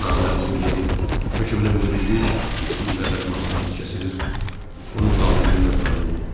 Naməlum yeni hökmlü müdriklik indi bədənimə hakim kəsilir, onun labirlliyinə tabe olurdum.